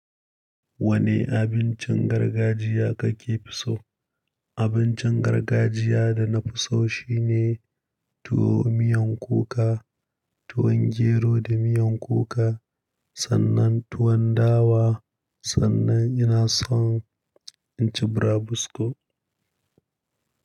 Wane abincin gargajiya kake fi so? Abincin gargajiya da na fi so shine tuwo miyan kuka, tuwon gero da miyan kuka sannan tuwon dawa, sannan ina son in ci burabusko.